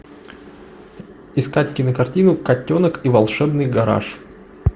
искать кинокартину котенок и волшебный гараж